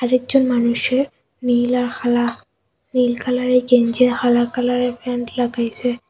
আরেকজন মানুষের নীল আর হালা নীল কালারের গেঞ্জি আর হালা কালারের প্যান্ট লাগাইসে।